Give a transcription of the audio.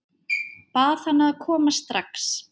Bað hana að koma strax.